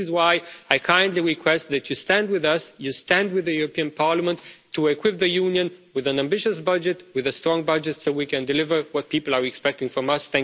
This is why I kindly request that you stand with us, stand with the European Parliament, to equip the Union with an ambitious budget, with a strong budget so we can deliver what people are expecting from us.